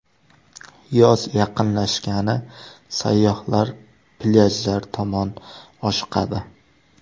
Yoz yaqinlashgani sayyohlar plyajlar tomon oshiqadi.